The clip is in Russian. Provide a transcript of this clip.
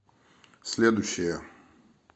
следующая